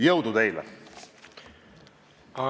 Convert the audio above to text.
Jõudu teile!